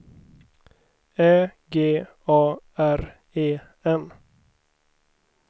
Ä G A R E N